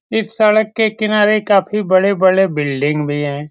इस सड़क के किनारे काफी बड़े-बड़े बिल्डिंग भी है।